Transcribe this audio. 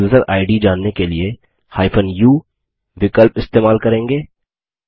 केवल user ID जानने के लिए u विकल्प इस्तेमाल करेंगे